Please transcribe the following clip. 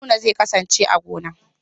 Haruna zai kasance a gona.